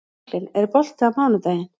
Franklin, er bolti á mánudaginn?